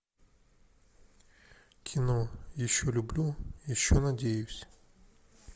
кино еще люблю еще надеюсь